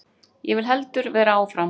Ég vil heldur vera áfram.